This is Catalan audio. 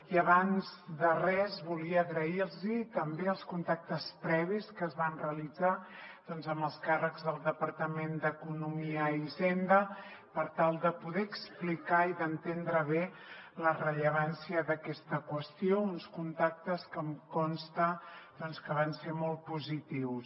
i abans de res volia agrairlos també els contactes previs que es van realitzar doncs amb els càrrecs del departament d’economia i hisenda per tal de poder explicar i d’entendre bé la rellevància d’aquesta qüestió uns contactes que em consta que van ser molt positius